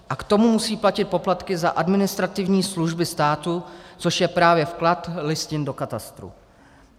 A k tomu musí platit poplatky za administrativní služby státu, což je právě vklad listin do katastru.